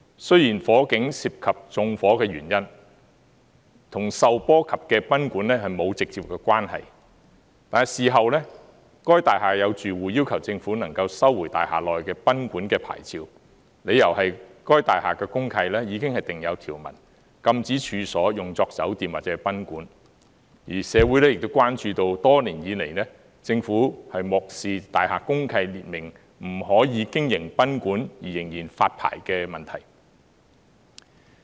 雖然火警涉及縱火的原因，與受波及的賓館沒有直接關係，但事後大廈有住戶要求政府能夠收回大廈內的賓館的牌照，理由是該大廈的公契已經訂有條文，禁止處所用作酒店或賓館；而社會亦關注到多年以來，政府漠視大廈公契列明，不可以經營賓館而仍然發牌的問題。